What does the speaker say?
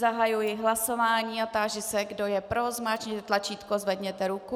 Zahajuji hlasování a táži se, kdo je pro, zmáčkněte tlačítko, zvedněte ruku.